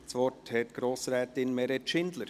– Das Wort hat Grossrätin Meret Schindler.